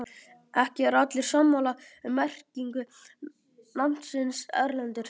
Ekki eru allir sammála um merkingu nafnsins Erlendur.